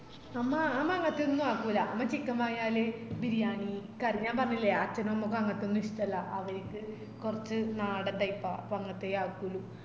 അമ്മ അമ്മഅങ്ങത്തെ ഒന്നും ആക്കൂലാ അമ്മ chicken വാങ്ങിയാല് ബിരിയാണി കറി ഞാൻ പറഞ്ഞില്ലേ അച്ഛനും അമ്മക്കും അങ്ങത്തെഒന്നും ഇഷ്ട്ടല്ല അവരിക്ക് കൊർച് നാടൻ type ആ അങ്ങത്തെ അക്കൂളു